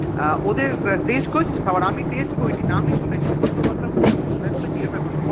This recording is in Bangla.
আঃ ওদের টষ্টে কোরেসিস খাবার আমি তাতে করিনি কোনদিন নাম শুনেছি ফোট্ করে কথা তা মনে পড়লো তাই তোকে জিজ্ঞাসা করছি